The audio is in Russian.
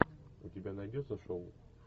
у тебя найдется шоу